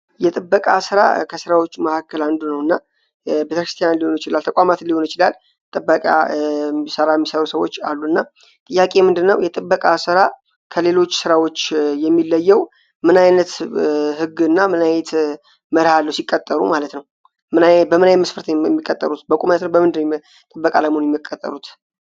የጥበቃ ስራ ከሥራዎች መካከል አንዱ ነው እና የተክርስቲያን ሊሆን ችላል ተቋማትን ሊሆን ችላል ጥበቃ ሰራ ሚሰሩ ሰዎች አሉ እና ጥያቄ የምንድነው የጥበቃ ስራ ከሌሎች ሥራዎች የሚለየው ምናይነት ሕግ እና ምናይት መርሃ ለው ሲቀጠሩ ማለት ነው ።በምናይ መስፈርት የሚቀጠሩት በቁማነት ነው በምንድር ጥበቅ አለሙን የሚቀጠሩት?